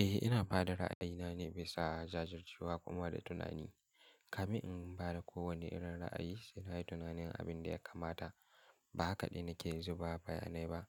Eh, ina ba da ra'ayina nane bisa jajircewa kuma da tunani. Kamin in ba da kowane irin ra'ayi, saina yin tunanin abin da ya kamata. Ba hakaɗe nake zuba bayanai ba.